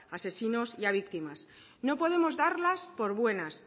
asesinos y a víctimas no podemos darlas por buenas